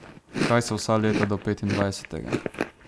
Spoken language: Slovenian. Kaj so vsa leta do petindvajsetega?